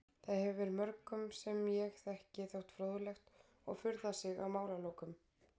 Það hefur mörgum sem ég þekki þótt fróðlegt og furðað sig á málalokum.